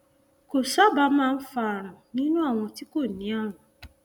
kò sábà máa ń fa ààrùn nínú àwọn tí kò ní ààrùn